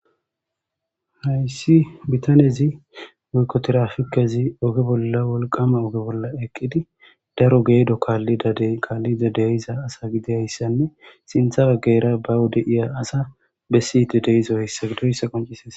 Haysi betanezi woyikko tirapikezi ogge bolla wolqqama wolqqama ogge bolla eqqidi daro geddo kalidda deqqiqa kalidda de'izza asa gidiyayisanne sinthe bagara wode de'za asa bessidi de'izza asa qonc'ises.